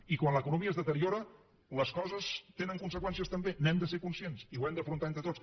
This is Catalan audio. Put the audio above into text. i quan l’economia es deteriora les coses tenen conseqüències també n’hem de ser conscients i ho hem d’afrontar entre tots